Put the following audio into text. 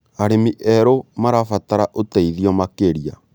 Arĩmi erũ marabatara ũteithio makĩria.